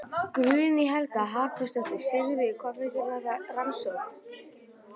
Guðný Helga Herbertsdóttir: Sigurður, hvað finnst þér um þessa rannsókn?